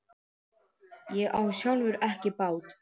Ég á sjálfur ekki bát.